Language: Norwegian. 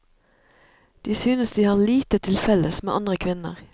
De synes de har lite til felles med andre kvinner.